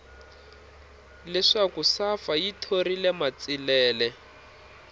leswaku safa yi thorile matsilele